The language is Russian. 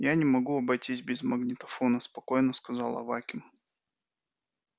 я не могу обойтись без магнитофона спокойно сказал аваким